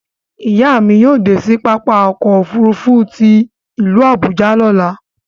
Iya mi yóò de sí pápá ọkọ̀ òfurufú tí ilu Abuja lọ̀là